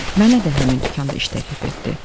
Mənə də həmin dükanda iş təklif etdi.